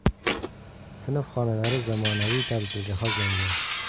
Sinf xonalari zamonaviy tarzda jihozlangan.